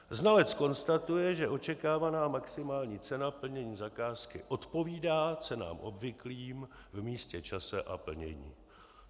Znalec konstatuje, že očekávaná maximální cena plnění zakázky odpovídá cenám obvyklým v místě, čase a plnění."